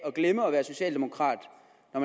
at